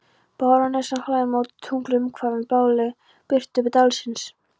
Barónessan hlær móti tungli umvafin blárri birtu dalsins.